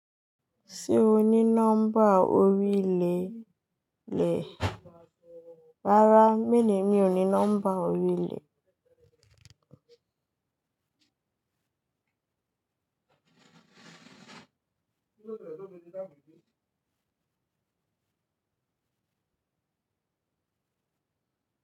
Ṣé o ní nọ́mbà orí ilé? Rárá, mi ni èmi ò ní nọ́mbà orí ilé.